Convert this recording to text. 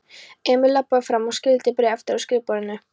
Emil labbaði fram og skyldi bréfið eftir á skrifborðinu.